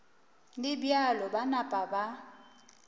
le bjalo ba napa ba